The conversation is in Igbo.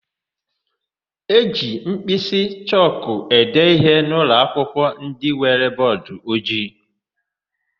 E ji mkpịsị chọkụ ede íhé n'ụlọakwụkwọ ndị nwere bọọdụojii.